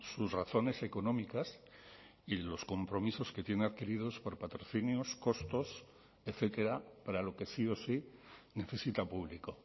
sus razones económicas y los compromisos que tiene adquiridos por patrocinios costos etcétera para lo que sí o sí necesita público